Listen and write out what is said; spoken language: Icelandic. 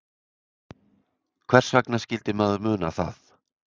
Hvers vegna skyldi maður muna það?